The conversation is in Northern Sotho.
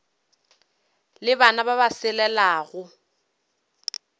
le bana ba ba selelago